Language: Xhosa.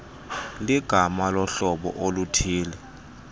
ligama lohlobo oluthille